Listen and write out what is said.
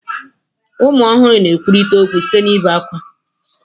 Ụmụ ọhụrụ na-ekwurịta okwu site n'ebe ákwá.